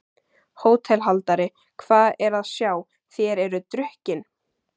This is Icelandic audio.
HÓTELHALDARI: Hvað er að sjá: þér eruð drukkin?